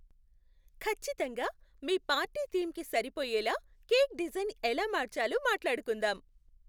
ఖచ్చితంగా! మీ పార్టీ థీమ్కి సరిపోయేలా కేక్ డిజైన్ ఎలా మార్చాలో మాట్లాడుకుందాం.